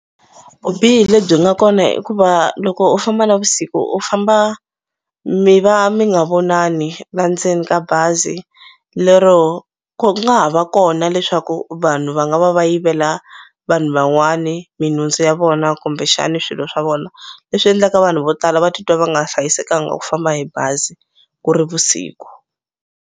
Vubihi lebyi nga kona i ku va loko u famba navusiku u famba mi va mi nga vonani la ndzeni ka bazi lero ku nga ha va kona leswaku vanhu va nga va va yivela vanhu van'wani minhundzu ya vona kumbexani swilo swa vona leswi endlaka vanhu vo tala va titwa va nga hlayisekanga ku famba hi bazi ku ri vusiku.